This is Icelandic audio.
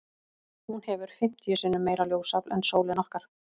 Hún hefur fimmtíu sinnum meira ljósafl en sólin okkar.